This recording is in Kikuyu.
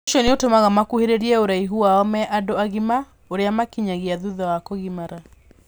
Ũcio nĩ ũtũmaga makuhĩrĩrie ũraihu wao me andũ agima úrĩa makinyagia thutha wa kũgimara.